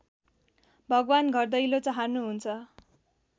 भगवान् घरदैलो चहार्नुहुन्छ